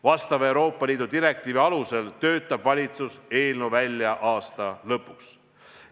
Vastava Euroopa Liidu direktiivi alusel töötab valitsus eelnõu välja aasta lõpuks.